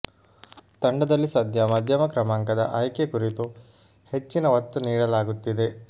ತಂಡದಲ್ಲಿ ಸದ್ಯ ಮಧ್ಯಮ ಕ್ರಮಾಂಕದ ಆಯ್ಕೆ ಕುರಿತು ಹೆಚ್ಚಿನ ಒತ್ತು ನೀಡಲಾಗುತ್ತಿದೆ